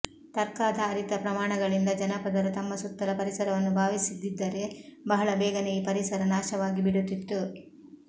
ತರ್ಕಾಧಾರಿತ ಪ್ರಮಾಣಗಳಿಂದ ಜನಪದರು ತಮ್ಮ ಸುತ್ತಲ ಪರಿಸರವನ್ನು ಭಾವಿಸಿದ್ದಿದ್ದರೆ ಬಹಳ ಬೇಗನೇ ಈ ಪರಿಸರ ನಾಶವಾಗಿ ಬಿಡುತ್ತಿತ್ತು